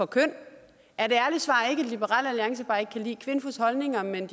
køn at liberal alliance bare ikke kan lide kvinfos holdninger men at